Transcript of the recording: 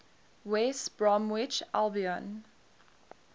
west bromwich albion